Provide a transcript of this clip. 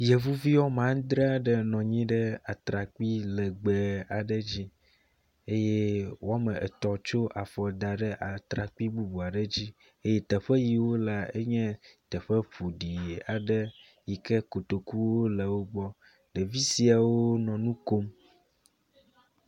Yevuvi wome adre aɖe nɔ anyi ɖe atrakpui legbe aɖe dzi ye wometɔ̃ tsɔ afɔ da ɖe atrakpui bubu aɖe dzi eye teƒe yi wole la nye teƒe ƒoɖi aɖe yi ke kotoku le wogbɔ, ɖevi siawo nɔ nukom